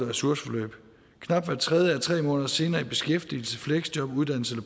ressourceforløb knap hver tredje er tre måneder senere i beskæftigelse fleksjob uddannelse